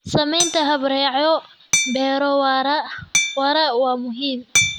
Samaynta habraacyo beero waara waa muhiim.